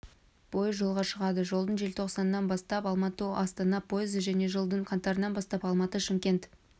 пойыз жолға шығады жылдың желтоқсанынан бастап алматы астана пойызы және жылдың қаңтарынан бастап алматы шымкент